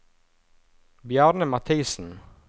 Bjarne Mathisen